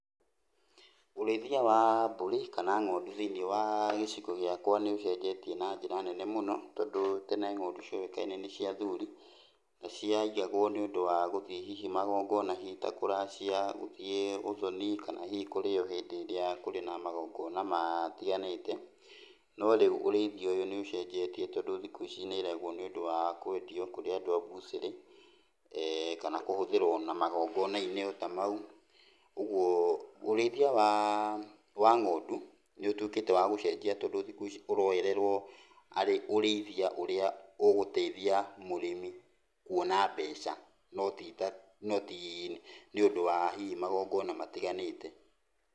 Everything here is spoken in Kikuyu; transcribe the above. Ũrĩithia wa mbũri kana ng'ondu thĩiniĩ wa gĩcigo gĩakwa nĩũcenjetie na njĩra nene mũno. Tondũ tene mbũri cioĩkaine nĩ cia athuri, na ciaigagwo nĩndũ wa gũthiĩ hihi magongona hihi ta kũracia, gũthiĩ ũthoni kana hihi kũrĩo hĩndĩ ĩrĩa kũrĩ na magongona matiganĩte. No rĩu ũrĩithia ũyũ nĩũcenjetie tondũ thikũ ici nĩireragwo nĩũndũ wa kwendio kũrĩ andũ a buchĩrĩ, kana kũhũthĩrwo na magongona-inĩ ota mau. Ũguo ũrĩithia wa ng'ondũ nĩũtuĩkĩte wa gũcenjia tondũ thikũ ici ũroererwo arĩ ũrĩithia ũrĩa ũgũteithia mũrĩmi kuona mbeca, no ti ta, no tii nĩũndũ wa hihi magongona matiganĩte.